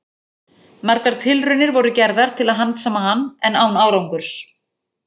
Margar tilraunir voru gerðar til að handsama hann, en án árangurs.